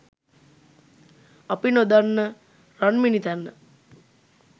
අපි නොදන්න රන්මිණිතැන්න !